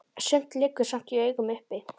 Sumt liggur samt í augum uppi.